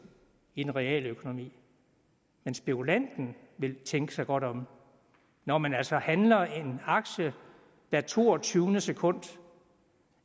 i den reale økonomi men spekulanten vil tænke sig godt om når man altså handler en aktie hvert toogtyvende sekund